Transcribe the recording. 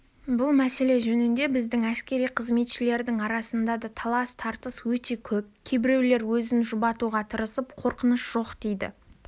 бұл мәселе жөнінде біздің әскери қызметшілердің арасында да талас-тартыс өте көп кейбіреулер өзін жұбатуға тырысып қорқыныш жоқ дейді